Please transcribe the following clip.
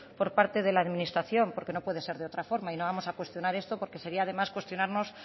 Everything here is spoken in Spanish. por parte de la administración porque no puede ser de otra forma y no vamos a cuestionar esto porque sería demás cuestionarnos